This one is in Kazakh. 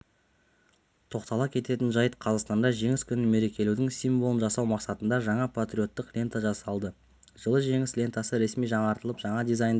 тоқтала кететін жайт қазақстанда жеңіс күнін мерекелеудің символын жасау мақсатында жаңа патриоттық лента жасалды жылы жеңіс лентасы ресми жаңартылып жаңа дизайнда